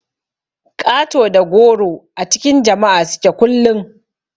Ƙato da goro a cikin jama'a suke kullun.